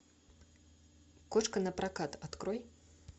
кошка напрокат открой